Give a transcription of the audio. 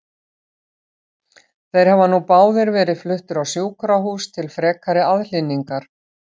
Þeir hafa nú báðir verið fluttir á sjúkrahús til frekari aðhlynningar.